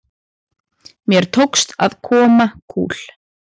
Mér tókst að koma kúl